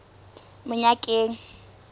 monyakeng